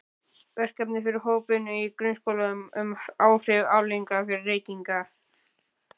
Verkefni fyrir hópvinnu í grunnskólum um áhrif og afleiðingar reykinga.